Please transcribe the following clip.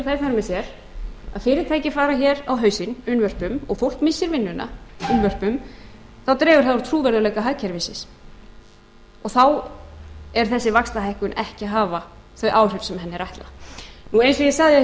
vegna gert að fyrirtæki fara hér á hausinn unnvörpum og fólk missir vinnuna unnvörpum þá dregur það úr trúverðugleika hagkerfisins og þá mun þessi vaxtahækkun ekki hafa þau áhrif sem henni er ætlað og eins og ég sagði hér áðan ég